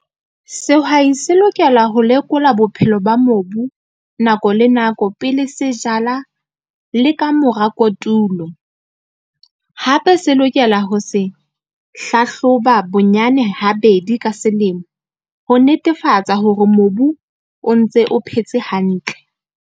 Sehwai se lokela ho lekola bophelo ba mobu, nako le nako pele se jala le ka mora kotulo. Hape se lokela ho se hlahloba bonyane ha bedi ka selemo ho netefatsa hore mobu o ntse o phetse hantle.